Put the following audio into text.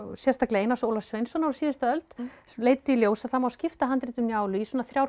sérstaklega Einars Ólafs Sveinssonar á síðustu öld leiddi í ljós að það má skipta handritum Njálu í svona þrjár